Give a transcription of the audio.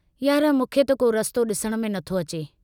यार मूंखे त को रस्तो डिसण में नथो अचे।